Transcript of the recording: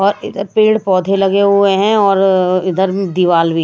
और इधर पेड़ पौधे लगे हुए हैं और इधर में दिवाल भी--